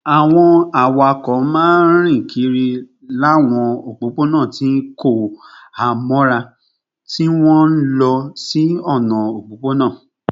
Àwọn awakọ̀ máa ń rìn kiri láwọn òpópónà tí kò há mọ́ra, tí wọ́n ń lọ sí ọ̀nà òpópónà